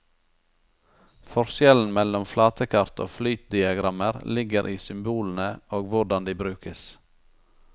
Forskjellen mellom flatekart og flytdiagrammer ligger i symbolene og hvordan de brukes.